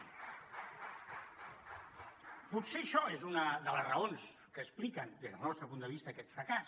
potser això és una de les raons que expliquen des del nostre punt de vista aquest fracàs